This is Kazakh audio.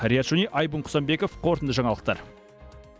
риат шони айбын құсанбеков қорытынды жаңалықтар